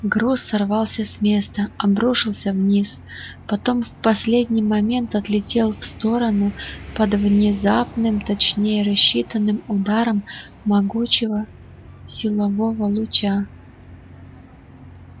груз сорвался с места обрушился вниз потом в последний момент отлетел в сторону под внезапным точнее рассчитанным ударом могучего силового луча